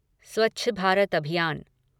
स्वच्छ भारत अभियान